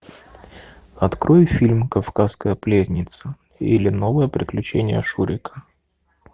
открой фильм кавказская пленница или новые приключения шурика